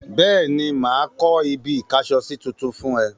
Bẹ́ẹ̀ni, mà á kọ́ ibi-ìkásọsí tuntun fún ẹ.